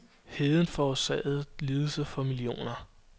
Heden forårsagede lidelse for millioner.